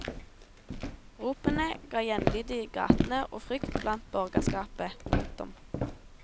Ropene ga gjenlyd i gatene og frykt blant borgerskapet. punktum